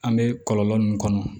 An bɛ kɔlɔlɔ min kɔnɔ